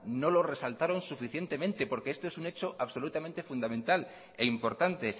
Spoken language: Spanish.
no lo resaltaron suficientemente porque esto es un hecho absolutamente fundamental e importante